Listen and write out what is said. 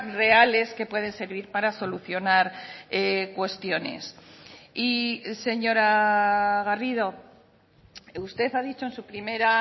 reales que pueden servir para solucionar cuestiones y señora garrido usted ha dicho en su primera